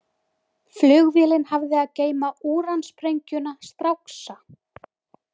Flugvélin hafði að geyma úransprengjuna „Stráksa“.